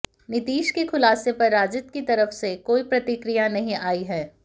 नीतीश के खुलासे पर राजद की तरफ से कोई प्रतिक्रिया नहीं आई है